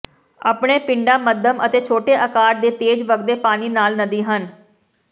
ਆਪਣੇ ਪਿੰਡਾ ਮੱਧਮ ਅਤੇ ਛੋਟੇ ਅਕਾਰ ਦੇ ਤੇਜ਼ ਵਗਦੇ ਪਾਣੀ ਨਾਲ ਨਦੀ ਹਨ